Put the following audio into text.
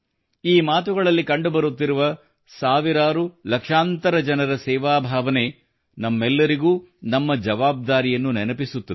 ಈ ಮಾತುಗಳಲ್ಲಿ ಕಂಡುಬರುತ್ತಿರುವ ಸಾವಿರಾರು ಲಕ್ಷಾಂತರ ಜನರ ಸೇವಾಭಾವನೆಯು ನಮ್ಮೆಲ್ಲರಿಗೂ ನಮ್ಮ ಜವಾಬ್ದಾರಿಯನ್ನು ನೆನಪಿಸುತ್ತದೆ